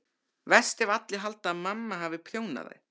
Verst ef allir halda að mamma hafi prjónað þær.